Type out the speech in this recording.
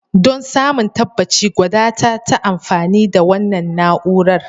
Don samun tabbaci, gwada ta ta amfani da wannan na'urar.